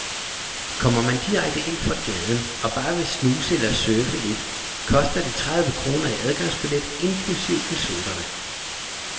Kommer man direkte ind fra gaden og bare vil snuse eller surfe lidt koster det tredive kroner i adgangsbillet inklusive en sodavand.